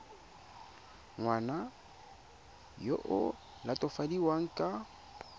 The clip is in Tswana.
ngwana yo o latofadiwang ka